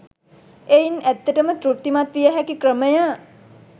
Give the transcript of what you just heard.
එයින් ඇත්තට ම තෘප්තිමත් විය හැකි ක්‍රමය